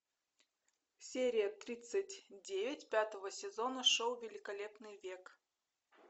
серия тридцать девять пятого сезона шоу великолепный век